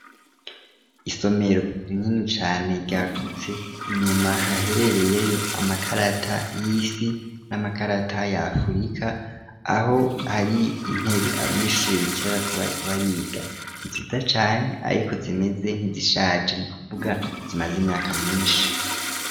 isomero rinini cane ryagutse inyuma haherereyeyo amakarata y'isi n'amakarata ya afirika aho hari intebe abanyeshuri bikera kubaye kubariga nziza cane ariko zimeze nk'izishaje ni kuvuga zimaze imyaka myinshi